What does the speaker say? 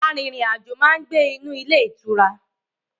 Arìnrìnàjò máa ń gbé in ilé ìtura